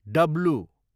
W